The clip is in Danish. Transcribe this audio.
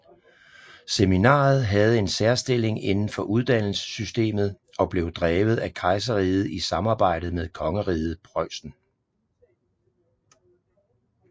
Seminaret havde en særstilling indenfor uddannelsessystemet og blev drevet af kejserriget i samarbejde med kongeriget Preussen